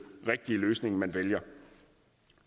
rigtige løsning man vælger